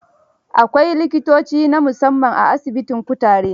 Akwai likitoci na musamman a asibitin kutare.